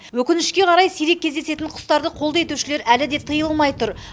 өкінішке қарай сирек кездесетін құстарды қолды етушілер әлі де тыйылмай тұр